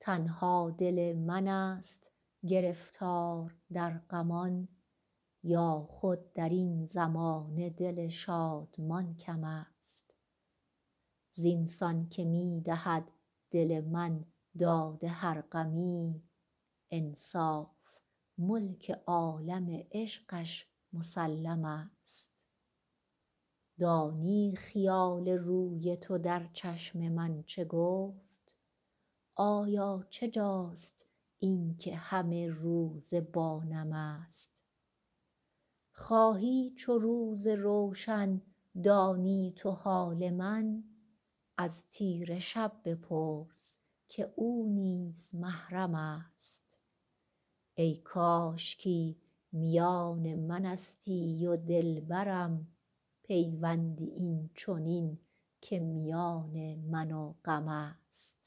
تنها دل من ست گرفتار در غمان یا خود در این زمانه دل شادمان کم است زین سان که می دهد دل من داد هر غمی انصاف ملک عالم عشقش مسلم است دانی خیال روی تو در چشم من چه گفت آیا چه جاست این که همه روزه با نم است خواهی چو روز روشن دانی تو حال من از تیره شب بپرس که او نیز محرم است ای کاشکی میان من استی و دل برم پیوندی این چنین که میان من و غم است